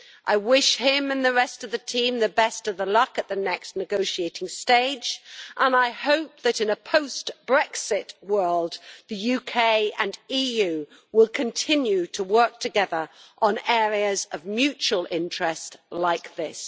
I wish him and the rest of the team the best of the luck at the next negotiating stage, and I hope that in a post Brexit world, the UK and EU will continue to work together on areas of mutual interest, like this.